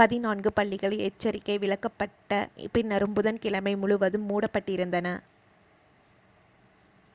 பதினான்கு பள்ளிகள் எச்சரிக்கை விலக்கப்பட்ட பின்னரும் புதன் கிழமை முழுவதும் மூடப்பட்டிருந்தன